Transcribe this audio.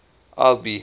albi